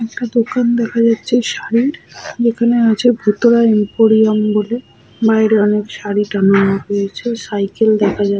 একটা দোকান দেখা যাচ্ছে শাড়ির দোকান আছে ভূতড়া এমপোরিয়াম বলে বাইরে অনেক শাড়ি টাঙানো রয়েছেসাইকেল দেখা যা --